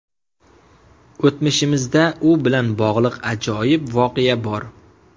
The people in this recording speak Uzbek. O‘tmishimizda u bilan bog‘liq ajoyib voqea bor.